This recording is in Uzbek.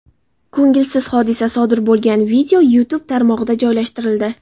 Ko‘ngilsiz hodisa sodir bo‘lgan video YouTube tarmog‘ida joylashtirildi .